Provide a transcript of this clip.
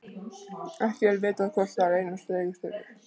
ekki er vitað hvort þar leynast reikistjörnur